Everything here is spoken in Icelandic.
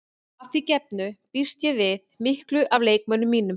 Að því gefnu býst ég við miklu af leikmönnum mínum.